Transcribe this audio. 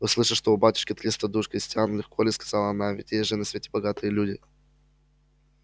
услыша что у батюшки триста душ крестьян легко ли сказала она ведь есть же на свете богатые люди